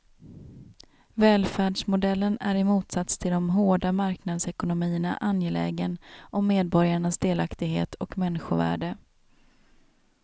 Välfärdsmodellen är i motsats till de hårda marknadsekonomierna angelägen om medborgarnas delaktighet och människovärde.